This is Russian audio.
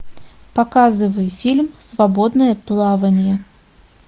показывай фильм свободное плавание